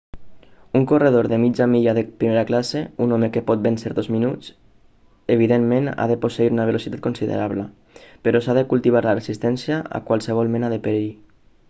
un corredor de mitja milla de primera classe un home que pot vèncer dos minuts evidentment ha de posseir una velocitat considerable però s'ha de cultivar la resistència a qualsevol mena de perill